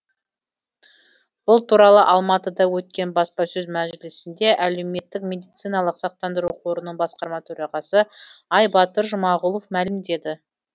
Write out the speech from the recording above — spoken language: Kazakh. бұл туралы алматыда өткен баспасөз мәжілісінде әлеуметтік медициналық сақтандыру қорының басқарма төрағасы айбатыр жұмағұлов мәлімдеді